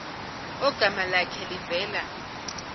ogama lakhe livela